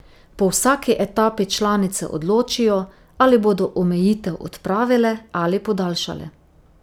Po vsaki etapi članice odločijo, ali bodo omejitev odpravile ali podaljšale.